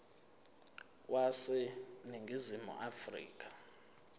wase ningizimu afrika